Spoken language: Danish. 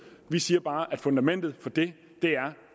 vi siger bare at fundamentet for det er